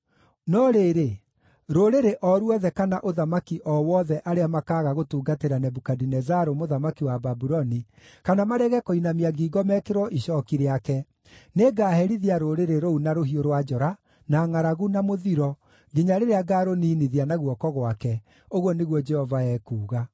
“‘ “No rĩrĩ, rũrĩrĩ o ruothe kana ũthamaki o wothe arĩa makaaga gũtungatĩra Nebukadinezaru mũthamaki wa Babuloni, kana marege kũinamia ngingo mekĩrwo icooki rĩake, nĩngaherithia rũrĩrĩ rũu na rũhiũ rwa njora, na ngʼaragu, na mũthiro, nginya rĩrĩa ngarũniinithia na guoko gwake, ũguo nĩguo Jehova ekuuga.